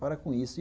Para com isso.